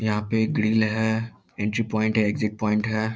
याहा पे एक ग्रिल हैं एंट्री पॉइंट है एक्सिट पॉइंट हैं |